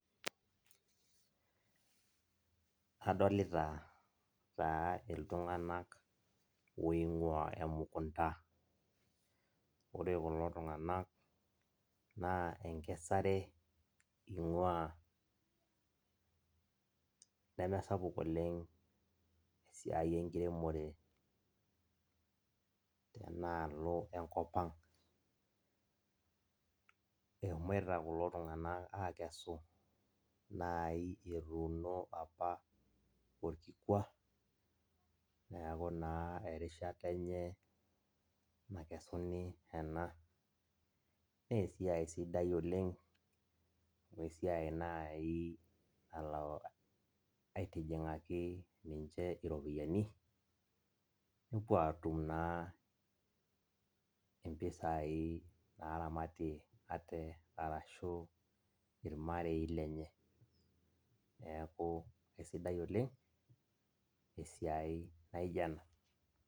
Adolita taa ltunganak oingua emukunda, ore kulo tunganak na enkesare ingua, namesiai sapuk oleng enkiremore enaalo enkop aang ,eshomoita kulo tunganak akesu orkikua neaku naa erishata enye nakeseni ena, na esiai sidai oleng amu esiai nai nalo naitijingaki ninche iropiyani nepuo atum mpisai naramatie ate arashu irmarei lenye, neaku aisidai oleng esiai naijo ena.